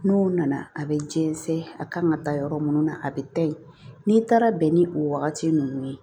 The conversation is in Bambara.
N'o nana a bɛ jɛnsɛn a kan ka taa yɔrɔ minnu na a bɛ taa ye n'i taara bɛn ni o wagati ninnu ye